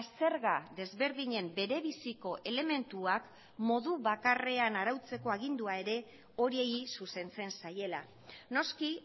zerga desberdinen bere biziko elementuak modu bakarrean arautzeko agindua ere horiei zuzentzen zaiela noski